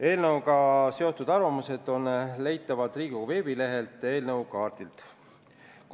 Eelnõuga seotud arvamused on leitavad Riigikogu veebilehelt eelnõukaardilt.